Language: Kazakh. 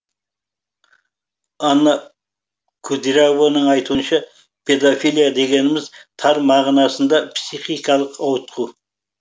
анна күдиярованың айтуынша педофилия дегеніміз тар мағынасында психикалық ауытқу